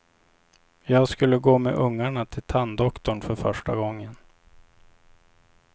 Jag skulle gå med ungarna till tanddoktorn för första gången.